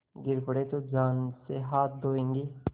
गिर पड़े तो जान से हाथ धोयेंगे